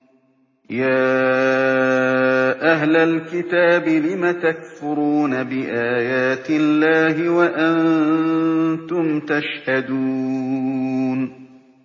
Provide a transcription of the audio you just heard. يَا أَهْلَ الْكِتَابِ لِمَ تَكْفُرُونَ بِآيَاتِ اللَّهِ وَأَنتُمْ تَشْهَدُونَ